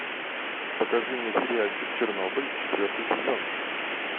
покажи мне сериальчик чернобыль четвертый сезон